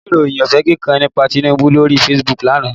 Mo rí ìròyìn òfége kan nípa Tinubu lóri Facebook lánàá